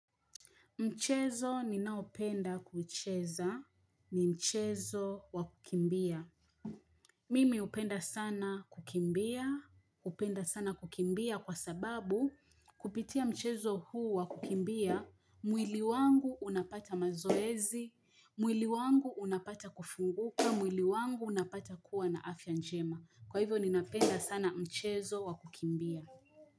Mchezo ni naopenda kucheza, ni mchezo wa kukimbia. Mimi upenda sana kukimbia, upenda sana kukimbia kwa sababu kupitia mchezo huu wa kukimbia, mwili wangu unapata mazoezi, mwili wangu unapata kufunguka, mwili wangu unapata kuwa na afya njema. Kwa hivyo ninapenda sana mchezo wa kukimbia.